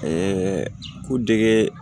ko dege